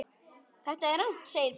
Þetta er rangt segir Páll.